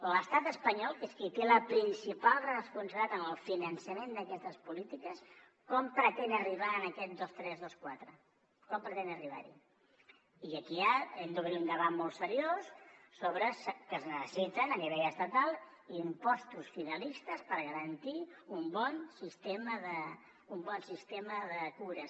l’estat espanyol que és qui té la principal responsabilitat en el finançament d’aquestes polítiques com pretén arribar a aquest dos coma tres dos coma quatre com pretén arribar hi i aquí ja hem d’obrir un debat molt seriós sobre el fet que es necessiten a nivell estatal impostos finalistes per garantir un bon sistema de cures